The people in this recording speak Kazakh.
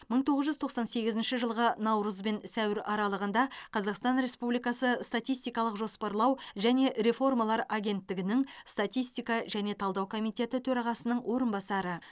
мың тоғыз жүз тоқсан сегізінші жылғы наурыз бен сәуір аралығында қазақстан республикасы статистикалық жоспарлау және реформалар агенттігінің статистика және талдау комитеті төрағасының орынбасары